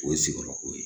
O ye sigiyɔrɔko ye